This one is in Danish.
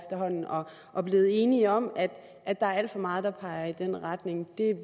og er blevet enige om at at der er alt for meget der peger i den retning